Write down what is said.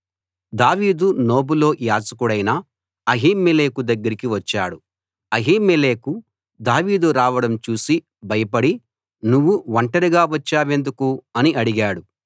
దావీదు నోబులో యాజకుడైన అహీమెలెకు దగ్గరికి వచ్చాడు అహీమెలెకు దావీదు రావడం చూసి భయపడి నువ్వు ఒంటరిగా వచ్చావెందుకు అని అడిగాడు